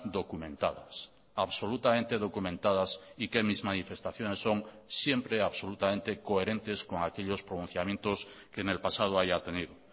documentadas absolutamente documentadas y que mis manifestaciones son siempre absolutamente coherentes con aquellos pronunciamientos que en el pasado haya tenido